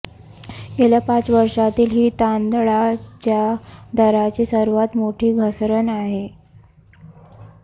गेल्या पाच वर्षांतील ही तांदळाच्या दराची सर्वांत मोठी घसरण आहे